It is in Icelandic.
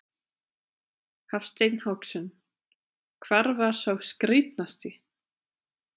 Hafsteinn Hauksson: Hvar var sá skrítnasti?